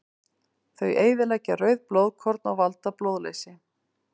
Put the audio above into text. Þau eyðileggja rauð blóðkorn og valda blóðleysi.